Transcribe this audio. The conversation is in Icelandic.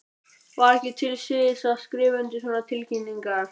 Var ekki til siðs að skrifa undir svona tilkynningar?